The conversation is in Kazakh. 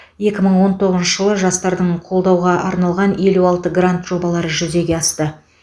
екі мың он тоғызыншы жылы жастардың қолдауға арналған елу алты грант жобалары жүзеге асты